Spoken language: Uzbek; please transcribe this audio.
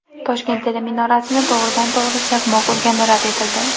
Toshkent teleminorasini to‘g‘ridan-to‘g‘ri chaqmoq urgani rad etildi.